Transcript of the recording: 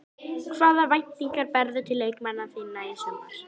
Hvaða væntingar berðu til leikmanna þinna í sumar?